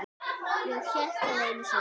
Ég hélt það einu sinni.